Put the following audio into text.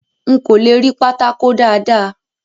N kò le rí pátákó dáàda.